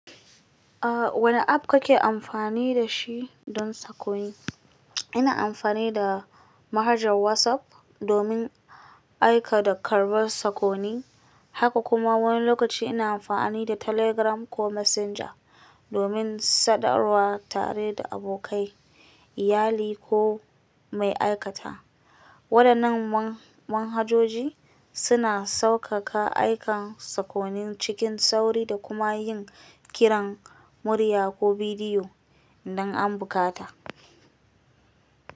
Ah wane app ka ke amfani da shi don sakonni? Ina amfani da manhajar WhatsApp domin aika da karɓar sakonni, haka kuma wani lokaci ina amfani da Telegram ko Messenger domin sadarwa tare da abokai, iyali ko mai aikata. Waɗannan manhajoji suna sauƙaƙa aika sakonni cikin sauri da kuma yin kiran murya ko bidiyo don ambukata.